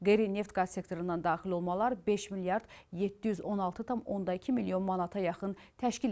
Qeyri-neft qaz sektorundan daxil olmalar 5 milyard 716,2 milyon manata yaxın təşkil edib.